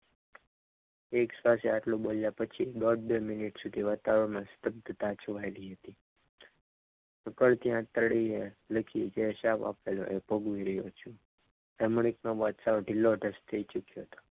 એક સાથે આટલું બોલ્યા પછી દોઢ બે મિનિટ સુધી વાતાવરણમાં સ્તાગ્તતા છવાઈ ગઈ હતી દુઃખથી આંતરડીએ લખી જે શ્રાપ આપેલો એ શ્રાપ ખૂબ નડેલો રમણીક નો ચહેરો સાવ ખૂબ ઢીલો ઢસ થઈ ગયો.